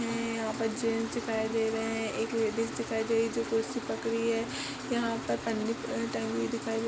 यहाँ पर जेन्स दिखायी दे रहे हैं। एक लेडिस दिखायी दे रही है जो कुर्सी पकड़ी है। यहाँ पर पन्नी टंगी दिखायी दे रही है।